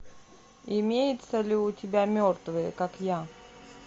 имеется ли у тебя мертвые как я